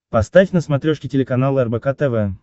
поставь на смотрешке телеканал рбк тв